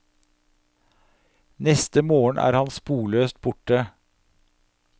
Neste morgen er han sporløst borte.